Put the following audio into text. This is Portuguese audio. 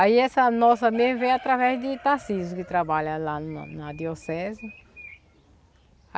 Aí essa nossa nem veio através de Tarsísio, que trabalha lá na na arquidiocese.